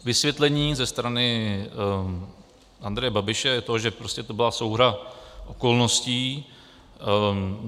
Vysvětlení ze strany Andreje Babiše je to, že prostě to byla souhra okolností.